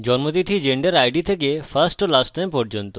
জন্মতিথি থেকে gender id থেকে firstname এবং lastname পর্যন্ত